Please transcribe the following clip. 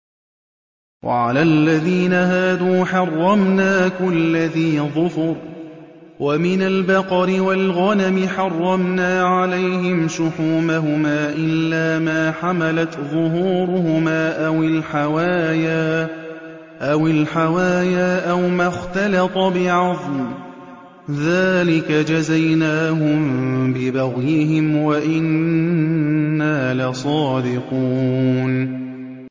وَعَلَى الَّذِينَ هَادُوا حَرَّمْنَا كُلَّ ذِي ظُفُرٍ ۖ وَمِنَ الْبَقَرِ وَالْغَنَمِ حَرَّمْنَا عَلَيْهِمْ شُحُومَهُمَا إِلَّا مَا حَمَلَتْ ظُهُورُهُمَا أَوِ الْحَوَايَا أَوْ مَا اخْتَلَطَ بِعَظْمٍ ۚ ذَٰلِكَ جَزَيْنَاهُم بِبَغْيِهِمْ ۖ وَإِنَّا لَصَادِقُونَ